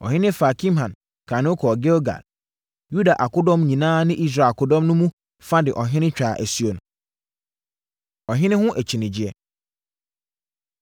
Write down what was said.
Ɔhene faa Kimham kaa ne ho kɔɔ Gilgal. Yuda akodɔm nyinaa ne Israel akodɔm no mu fa de ɔhene twaa asuo no. Ɔhene Ho Akyinnyegyeɛ